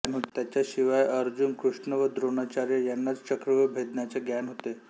त्याच्याशिवाय अर्जुन कृष्ण व द्रोणाचार्य यांनाच चक्रव्यूह भेदण्याचे ज्ञान होते